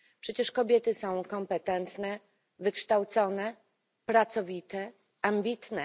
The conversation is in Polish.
Przecież kobiety są kompetentne, wykształcone, pracowite, ambitne.